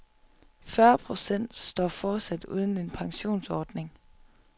Fyrre procent står fortsat uden en pensionsordning.